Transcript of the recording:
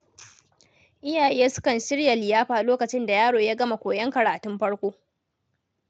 Iyaye sukan shirya liyafa lokacin da yaro ya gama koyon karatun farko.